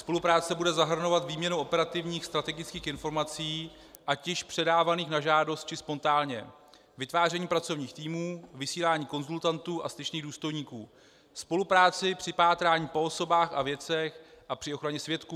Spolupráce bude zahrnovat výměnu operativních strategických informací, ať již předávaných na žádost, či spontánně, vytváření pracovních týmů, vysílání konzultantů a styčných důstojníků, spolupráci při pátrání po osobách a věcech a při ochraně svědků.